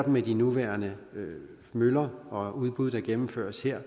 med de nuværende møller og udbud der gennemføres her